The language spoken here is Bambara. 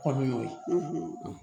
Kɔni y'o ye